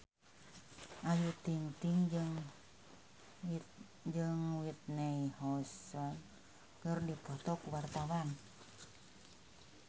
Ayu Ting-ting jeung Whitney Houston keur dipoto ku wartawan